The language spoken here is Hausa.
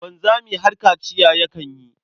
Wanzami har kaciya yakan yi.